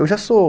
Eu já sou